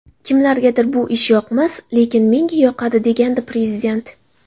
Kimlargadir bu ish yoqmas, lekin menga yoqadi” degandi Prezident.